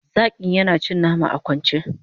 zakin yana cin nama a kwance